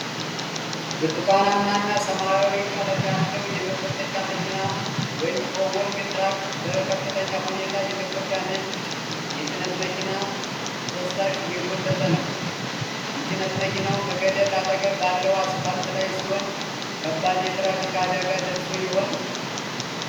ብርቱካንማና ሰማያዊ ቀለም ያለው የመጎተቻ መኪና (ቶዊንግ ትራክ)፣ በከፍተኛ ሁኔታ የተጎዳ ነጭ የጭነት መኪና ፍርስራሽ እየጎተተ ነው። የጭነት መኪናው ከገደል አጠገብ ባለው አስፋልት ላይ ሲሆን፣ ከባድ የትራፊክ አደጋ ደርሶ ይሆን?